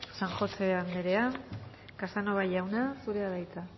san josé anderea casanova jauna zurea da hitza